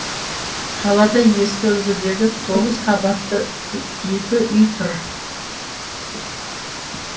қалада ескі үлгідегі тоғыз қабатты екі үй тұр